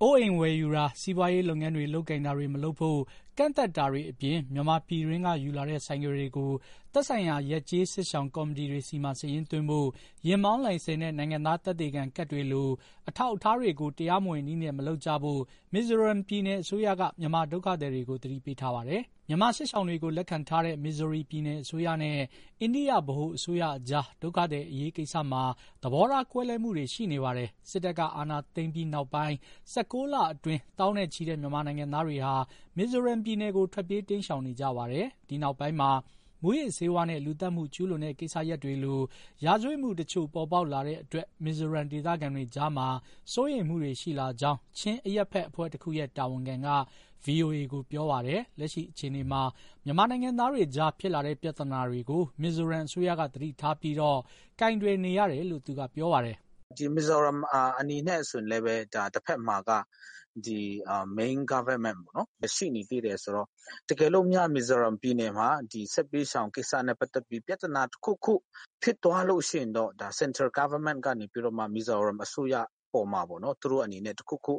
အိုးအိမ်ဝယ်ယူတာ၊ စီးပွားရေးလုပ်ငန်းတွေ လုပ်ကိုင်တာတွေ မလုပ်ဖို့ ကန့်သတ်တာတွေအပြင် မြန်မာပြည်တွင်းက ယူလာတဲ့ ဆိုင်ကယ်တွေကို သက်ဆိုင်ရာ ရပ်ကျေးစစ်ရှောင် ကော်မတီတွေဆီမှာ စာရင်းသွင်းဖို့၊ ယာဉ်မောင်းလိုင်းစင်နဲ့ နိုင်ငံသား သက်သေခံကတ်တွေလို အထောက်အထားတွေကို တရားမဝင်နည်းနဲ့ မလုပ်ကြဖို့ မီဇိုရမ်ပြည်နယ် အစိုးရက မြန်မာဒုက္ခသည်တွေကို သတိပေးထားပါတယ်။ မြန်မာစစ်ရှောင်တွေကို လက်ခံထားတဲ့ မီဇိုရမ်ပြည်နယ်အစိုးရနဲ့ အိန္ဒိယ ဗဟိုအစိုးရအကြား ဒုက္ခသည်အရေးကိစ္စမှာ သဘောထား ကွဲလွဲမှုတွေရှိနေပါတယ်။ စစ်တပ်က အာဏာသိမ်းပြီးနောက်ပိုင်း ၁၉ လအတွင်း သောင်းနဲ့ချီတဲ့ မြန်မာနိုင်ငံသားတွေဟာ မီဇိုရမ်ပြည်နယ်ကို ထွက်ပြေးတိမ်းရှောင်နေကြပါတယ်။ ဒီနောက်ပိုင်းမှာ မူးယစ်ဆေးဝါးနဲ့ လူသတ်မှုကျူး လွန်တဲ့ကိစ္စတွေလို ရာဇဝတ်မှုတချို့ ပေါ်ပေါက်လာတဲအ့တွက် မီဇိုရမ်ဒေသခံတွေကြားမှာ စိုးရိမ်မှုတွေရှိလာကြောင်း ချင်းအရပ်ဘက်အဖွဲ့တခုရဲ့ တာဝန်ခံက ဗွီအိုအေကို ပြောပါတယ်။ လက်ရှိအခြေအနေမှာ မြန်မာနိုင်ငံသားတွေကြား ဖြစ်လာတဲ့ ပြဿနာတွေကို မီဇိုရမ်အစိုးရက သတိထားပြီး ကိုင်တွယ်နေရတယ်လို့ သူကပြောပါတယ်။ " မီဇိုရမ်အနေနဲ့ တဖက်မှာ main government ရှိနေသေးတယ်ဆိုတော့ တကယ်လို့များ မီဇိုရမ်ပြည်နယ်မှာ စစ်ဘေးရှောင်ကိစ္စနဲ့ပတ်သက်ပြီး ပြဿနာတခုခု ဖြစ်သွားလို့ရှိရင် central governmant ကနေပြီးတော့ မီဇိုရမ်ပြည်နယ် အစိုးရအပေါ်မှာ တခုခု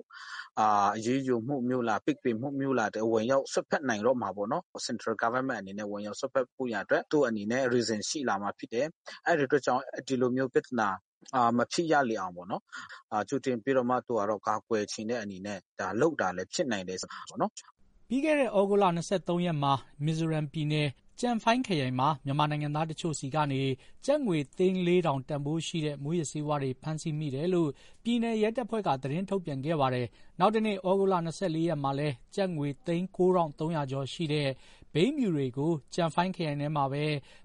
အရေးယူမှုမျိုး၊ ပိတ်ပင်မှုမျိုး ဝင်ရောက်စွက်ဖက်နိုင် တော့မှာပေါ့နော်။ central governmant အနေနဲ့ ဝင်ရောက်စွက်ဖက်ဖို့ရန်အတွက် သူ့အနေနဲ့ reason ရှိလာမှာဖြစ်တယ်။ အဲဒီအတွက်ကြောင့် ဒီလိုမျိုးပြဿနာ မဖြစ်ရလေအောင် ကြိုတင်ပြီးကာကွယ်ချင်တဲ့ အနေနဲ့ လုပ်တာလည်းဖြစ်နိုင်တယ်ပေါ့နော်။" ပြီးခဲ့တဲ့ ဩဂုတ်လ၂၃ရက်က မီဖိုရမ်ပြည်နယ်၊ ကျန်ဖိုင်းခရိုင်မှာ မြန်မာနိုင်ငံသားတချို့ဆီကနေ ကျပ်ငွေသိန်း ၄၀၀၀ တန်ဖိုးရှိတဲ့ မူးယစ်ဆေးဝါးတွေ ဖမ်းဆီးမိတယ်လို့ ပြည်နယ်ရဲတပ်ဖွဲ့က သတင်းထုတ်ပြန်ခဲ့ပါတယ်။ နောက်တနေ့ ဩဂုတ်လ ၂၄ရက်မှာလည်း ကျပ်ငွေသိန်း ၉၃၀၀ ကျော်ရှိတဲ့ ဘိန်းဖြူတွေကို ကျန်ဖိုင်းခရိုင်ထဲမှာပဲ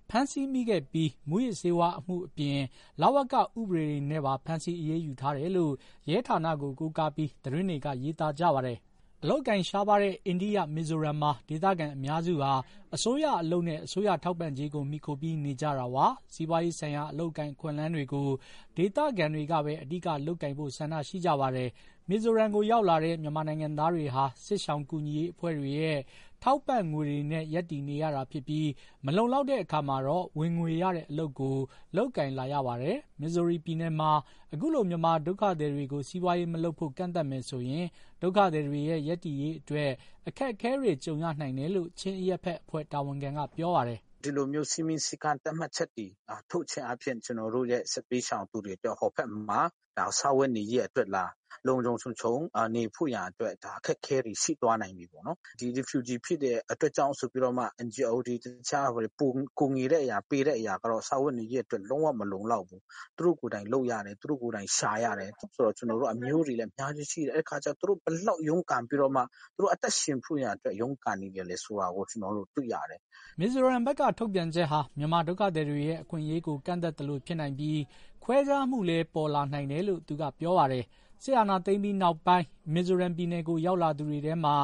ဖမ်းဆီးမိခဲ့ပြီး မူးယစ်ဆေးဝါး အမှုအပြင် လဝက ဥပဒေတွေနဲ့ပါ ဖမ်းဆီးအရေးယူထားတယ်လို့ ရဲဌာနကို ကိုးကားပြီး သတင်းတွေက ရေးသားကြပါတယ်။ အလုပ်အကိုင်ရှားပါးတဲ့ အိန္ဒိယနိုင်ငံ၊ မီဇိုရမ်ပြည်နယ်မှာ ဒေသခံအများစုဟာ အစိုးရအလုပ်နဲ့ အစိုးရထောက်ပံ့ကြေးကို မှီခိုပြီးနေကြတာပါ။ စီးပွားရေးဆိုင်ရာ အလုပ်အကိုင် အခွင့်အလမ်းတွေကို ဒေသခံတွေကပဲ အဓိက လုပ်ကိုင်ဖို့ ဆန္ဒရှိကြပါတယ်။ မီဇိုရမ်ရောက်လာတဲ့ မြန်မာနိုင်ငံသားတွေဟာ စစ်ရှောင်ကူညီရေးအဖွဲ့တွေရဲ့ ထောက်ပံ့ငွေတွေနဲ့ ရပ်တည်နေရတာဖြစ်ပြီး မလုံလောက်တဲ့အခါမှာတော့ ဝင်ငွေရတဲ့ အလုပ်တွေကို လုပ်ကိုင်လာရပါတယ်။ မီဇိုရမ်ပြည်နယ်မှာ အခုလို မြန်မာဒုက္ခသည်တွေကို စီးပွားရေးမလုပ်ဖို့ ကန့်သတ်မယ်ဆိုရင် ဒုက္ခသည်တွေရဲ့ ရပ်တည်ရေးအတွက ်အခက်အခဲတွေ ကြုံရနိုင်တယ်လို့ ချင်းအရပ်ဘက်အဖွဲ့ တာဝန်ခံက ပြောပါတယ်။ " ဒီလိုမျိုး စည်းမျဉ်းစည်းကမ်းတွေ ထုတ်ခြင်းအားဖြင့် ကျနော်တို့ရဲ့ စစ်ဘေးရှောင်တွေအတွက် ဟိုဘက်မှာ စားဝတ်နေရေး၊ လုံလုံခြုံခြုံနေဖို့ရန်အတွက် အခက်အခဲတွေ ရှိသွားနိုင်တယ်။ ဒီ refugee ဖြစ်တဲ့အတွက်ကြောင့်မို့လို့ NGO တွေ ကူညီပေးတဲ့အရာက စားဝတ်နေရေးအတွက် လုံးဝ မလုံလောက်ဘူး၊ သူတို့ကိုယ်တိုင်လုပ်ရတယ်၊ သူတို့ကိုယ်တိုင်ရှာရတယ်။ ကျနော်တို့အမျိုးတွေ အများကြီးရှိတယ်၊ သူတို့ဘယ်လောက် ရုန်းကန်ပြီးမှ အသက်ရှင်ဖို့ရန်အတွက် ရုန်းကန်နေရလဲဆိုတာ ကျနော်တို့တွေ့ရတယ်။" မိုဇိုရမ်ဘက်က ထုတ်ပြန်ချက်ဟာ မြန်မာဒုက္ခသည်တွေရဲ့ အခွင့်အရေးကို ကန့်သတ်သလိုဖြစ်နိုင်ပြီး ခွဲခြားမှုလည်း ပေါ်လာနိုင်တယ်လို့ သူကပြောပါတယ်။ စစ်အာဏာသိမ်းပြီးတဲ့နောက် မီဇိုရမ်ပြည်နယ်ကို ရောက်လာသူတွေထဲမှာ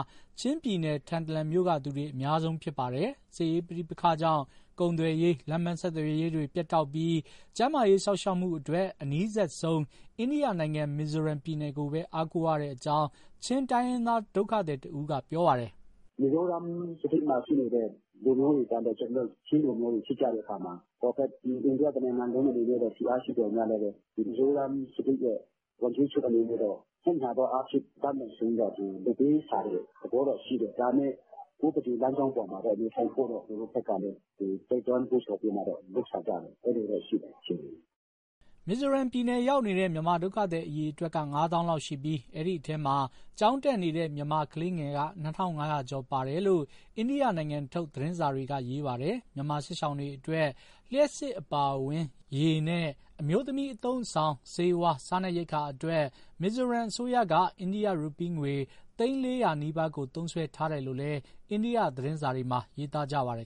ချင်းပြည်နယ်၊ ထန်တလန်မြို့က အများဆုံးဖြစ်ပါတယ်။ စစ်ရေးပဋိပက္ခကြောင့် ကုန်သွယ်ရေး၊ လမ်းပမ်းဆက်သွယ်ရေးတွေ ပြတ်တောက်ပြီး ကျန်းမာရေး စောင့်ရှောက်မှုအတွက် အနီးစပ်ဆုံး အိန္ဒိယနိုင်ငံ မီဇိုရမ် ပြည်နယ်ကိုပဲ အားကိုးရတဲ့အကြောင်း ချင်းတိုင်းရင်းသားဒုက္ခသည်တဦးက ပြောပါတယ်။ " မီဇိုရမ်မှာရှိနေတဲ့ လူမျိုးတွေကလည်း ကျနော်တို့ ချင်းလူမျိုးတွေ ဖြစ်ကြတဲ့အခါမှာ အိန္ဒိယ တနိုင်ငံလုံးအနေနဲ့ ဖိအားရှိသော်လည်း မီဇီုရမ်ပြည်နယ် ဝန်ကြီးချုပ်အနေနဲ့တော့ သက်ညှာသောအားဖြင့် အတတ်နိုင်ဆုံးသူ လုပ်ပေးရှာတဲ့ သဘောတော့ရှိတယ်။ ဒါပေမဲ့ ဥပဒေလမ်းကြောင်းအပေါ်မှာတော့ နေထိုင်ဖို့တော့ သူတို့ဘက်ကလည်း တိုက်တွန်းနှိုးဆော်ပြီး လုပ်ဆောင်ကြတယ်။ အဲဒီလိုတော့ရှိတယ် အခြေအနေ။" မီဇိုရမ်ပြည်နယ် ရောက်နေတဲ့ မြန်မာဒုက္ခသည် အရေအတွက်က ငါးသောင်းလောက်ရှိပြီး အဲဒီအထဲမှာ ကျောင်းတက်နေတဲ့ မြန်မာကလေးငယ်က ၂,၅၀၀ ကျော်ပါတယ်လို့ အိန္ဒိယနိုင်ငံထုတ် သတင်းစာတွေက ရေးပါတယ်။ မြန်မာစစ်ရှောင်တွေအတွက် လျှပ်စစ်အပါအဝင်၊ ရေနဲ့ အမျိုးသမီးအသုံးအဆောင်၊ ဆေးဝါး၊ စားနပ်ရိက္ခာအတွက် မီဇိုရမ်အစိုးရက အိန္ဒိယရူးပီးငွေ သိန်း ၄၀၀ နီးပါးကို သုံးစွဲထားတယ်လို့လည်း အန္ဒိယ သတင်းစာတွေမှာ ရေးသားကြပါတယ်